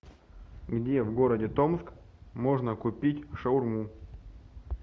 где в городе томск можно купить шаурму